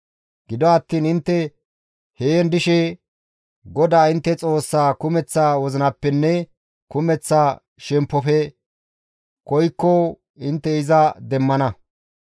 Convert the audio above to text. Gido attiin intte heen dishe GODAA intte Xoossaa kumeththa wozinappenne kumeththa shemppofe koykko intte iza demmana.